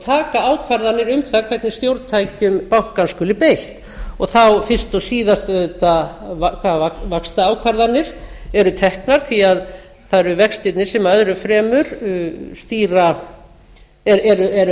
taka ákvarðanir um það hvernig stjórntækjum bankans skuli beitt og þá fyrst og síðast auðvitað hvaða vaxtaákvarðanir eru teknar því að það eru vextirnir sem lögðu fremur eru